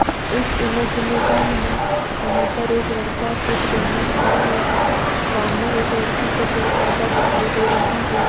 इस इमेज में सामने यहां पर एक लड़का किट पहने खड़ा है सामने एक लड़की को चेक करता दिखाई दे रहा है।